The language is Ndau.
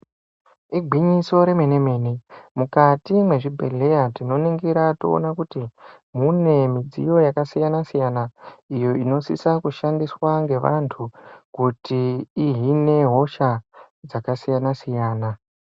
Igwinyiso remene mene, mukati mwezvibhedleya tinoningira toona kuti mune midziyo yakasiyana siyana iyo inosisa kushandiswa ngevantu kuti ihine hosha dzakasiyana siyana.